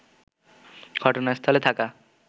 ঘটনাস্থলে থাকা